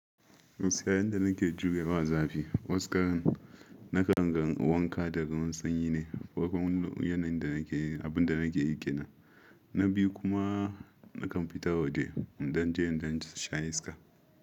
Gaskiya yanda nake jure ma za fi. Waskaran na kan gan wanka da ruwa sanyi ne. Yanayin da nake yi, abin da nake yi ƙina na biyu kuma na kan fita waje in dan je in dan sha iska.